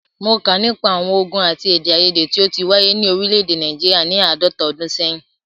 Mó kà nípa àwọn ògùn àti èdèaiyèdè tí o ti wáyé ni òrílẹ̀ èdè Nàìjíríà ni àádọ́ta ọdún sẹ́yìn.